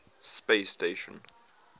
space station